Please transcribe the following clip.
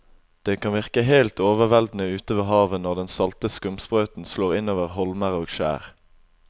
Det kan virke helt overveldende ute ved havet når den salte skumsprøyten slår innover holmer og skjær.